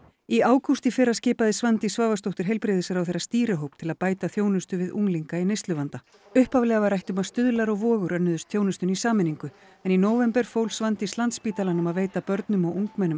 í ágúst í fyrra skipaði Svandís Svavarsdóttir heilbrigðisráðherra stýrihóp til að bæta þjónustu við unglinga í neysluvanda upphaflega var rætt um að Stuðlar og Vogur önnuðust þjónustuna í sameiningu en í nóvember fól Svandís Landspítalanum að veita börnum og ungmennum